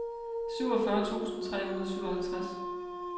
syvogfyrre tusind tre hundrede og syvoghalvtreds